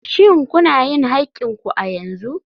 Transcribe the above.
Shin kuna yin haƙƙin ku a yanzu?